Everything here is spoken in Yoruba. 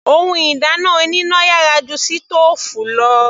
Ohun ìdáná oníná yàrá ju sítòòfù lọ.